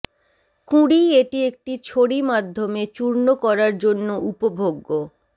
কুঁড়ি এটি একটি ছড়ি মাধ্যমে চূর্ণ করার জন্য উপভোগ্য